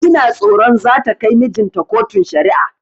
Ina tsoron zata kai mijinta kotun shari'a